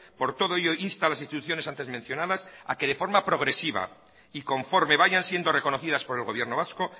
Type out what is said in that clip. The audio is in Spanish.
por todo ello insta a las instituciones antes mencionadas a que de forma progresiva y conforme vayan siendo reconocidas por el gobierno vasco